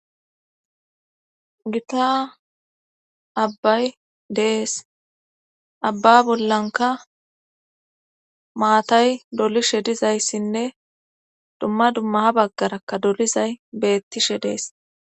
Gitta abbay de7ees abba bollankka maatay dolidhe dizayssinne dumma dumma ha baggarakka dolizay beettishe dees.